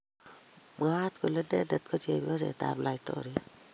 Mwaat kole inendet ko chepyoset ap laitoriat